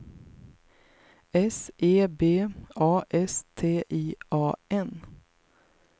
S E B A S T I A N